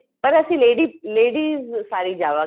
ਪਰ ਅਸੀਂ ladies ਸਾਰੀ ਜਾਵਾ ਗੇ